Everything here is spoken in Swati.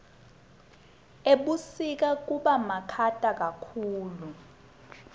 ebusika kubamakhata kakhulu